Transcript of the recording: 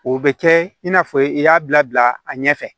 O bɛ kɛ i n'a fɔ i y'a bila a ɲɛfɛ